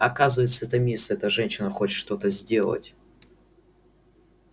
оказывается эта мисс эта женщина хочет что-то сделать